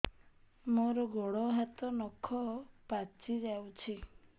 ମୋର ଗୋଡ଼ ହାତ ନଖ ପାଚି ଯାଉଛି